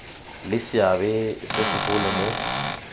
le seabe se segolo mo